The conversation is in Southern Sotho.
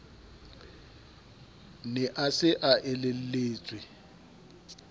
ne a se a elelletswe